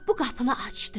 Bu qapını açdı.